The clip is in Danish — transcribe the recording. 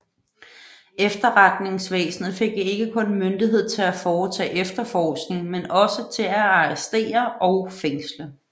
Efterretningsvæsenet fik ikke kun myndighed til at foretage efterforskning men også til at arrestere og fængsle